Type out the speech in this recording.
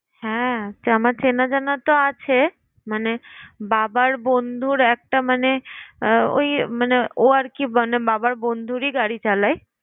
হ্যাঁ আমার চেনাজানা তো আছে। মানে বাবার বন্ধুর একটা মানে আহ ওই মানে ও আর কি মানে বাবার বন্ধুরই গাড়ি চালায়।